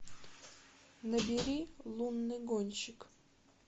набери лунный гонщик